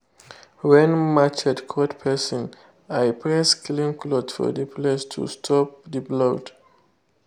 when machete cut person i press clean cloth for the place to stop the blood.